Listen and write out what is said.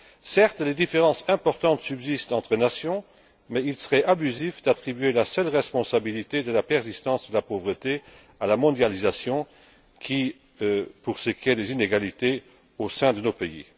Certes, des différences importantes subsistent entre nations, mais il serait abusif d'attribuer la seule responsabilité de la persistance de la pauvreté à la mondialisation pour ce qui est des inégalités au sein de nos pays.